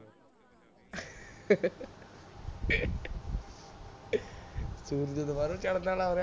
ਸੂਰਜ ਦੁਬਾਰਾ ਚੜ੍ਹਨ ਵਾਲਾ ਹੋ ਰਿਹਾ